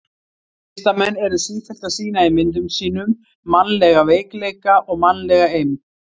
Listamenn eru sífellt að sýna í myndum sínum mannlega veikleika og mannlega eymd.